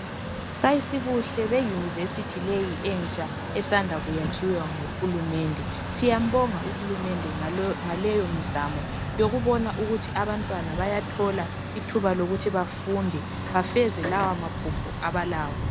Ayisibuhle beyunivesithi leyi entsha esanda kuyakhiwa nguhulumende, siyambonga uhulumende ngaleyomizamo yokubona ukuthi abantwana bayathola ithuba lokuthi bafunde bafeze lawamaphupho abalawo.